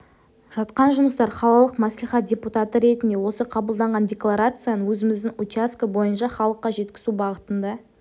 жатқан жұмыстар қалалық мәслихат депутаты ретінде осы қабылданған декларацияның өзіміздің учаске бойынша халыққа жеткізу бағытында